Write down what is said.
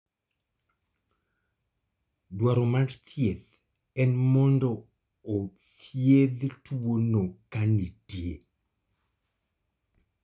dwaro mar thieth en mondo othiedh tuono kanitie